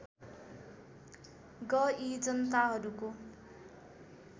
ग यी जनताहरूको